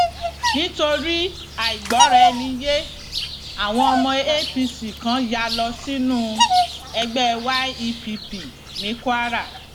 nítorí àìgbọraẹniyé àwọn ọmọ apc kan yá lọ sínú ẹgbẹ yepp ní kwara